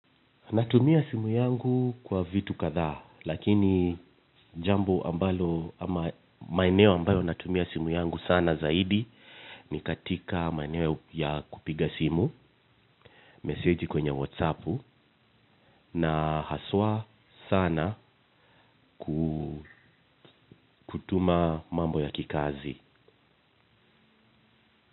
Ninatumia simu yangu kwa vitu kadhaa, lakini jambo ambalo ama maeneo ambayo ninatumia simu yangu sana zaidi ni katika maeneo ya kupiga simu, message kwenye whatsappu na haswa sana kutuma mambo ya kikazi.